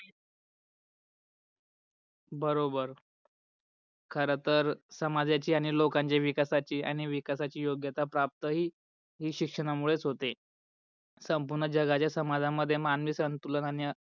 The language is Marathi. बरोबर. खर तर समाजाची आणि लोकणच्या विकासाची आणि विकासाची योग्यता प्राप्त ही शिक्षणामूळेच होते. संपूर्णं जागच्या समाजामध्ये मानवी संतुलन आणि